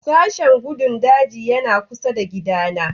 Sashen gandun daji yana kusa da gidana